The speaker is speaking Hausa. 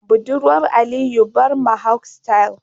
budurwar Aliyu Barb Mohawk style.